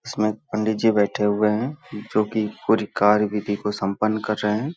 इसमें पंडित जी बैठे हुए हैं जोकि पूरी कार्य विधि को संपन्न कर रहे हैं ।